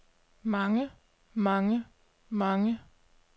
mange mange mange